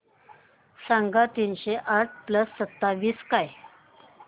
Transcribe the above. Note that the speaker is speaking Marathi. सांगा तीनशे आठ प्लस सत्तावीस काय